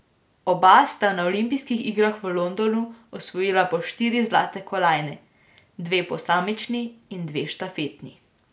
Oba sta na olimpijskih igrah v Londonu osvojila po štiri zlate kolajne, dve posamični in dve štafetni.